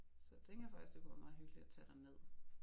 Så jeg tænker faktisk det kunne være meget hyggeligt at tage derned